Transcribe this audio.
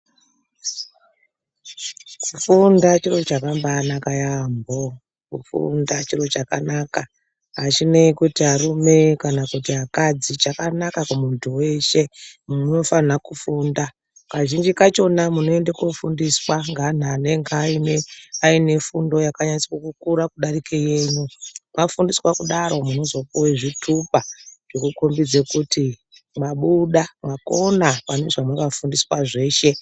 Kufunda chiro chakambana yaamho. Kufunda chiro chakanaka, achinei kuti arume kana akadzi chakanaka kumuntu weshe. Munhu unofana kufunda. Kazhinji kachona munoenda kofundiswa ngeanhu anenge aine fundo yakanyatsa kukura kudarike yenyu. Mwafundiswa kudaro munozooiwa zvitupa kukhombidza kuti mwabuda mwakona pane zvamakafundiswa zveshe.